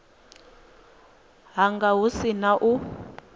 hanga hu si na u